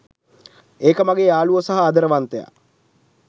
ඒක මගේ යාළුවෝ සහ ආදරවන්තයා.